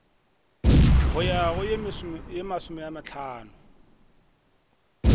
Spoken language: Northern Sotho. go ya go ye masomehlano